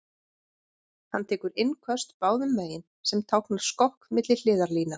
Hann tekur innköst báðum megin, sem táknar skokk milli hliðarlína.